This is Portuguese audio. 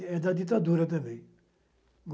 E é da ditadura também.